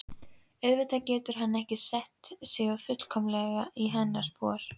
Auðvitað getur hann ekki sett sig fullkomlega í hennar spor.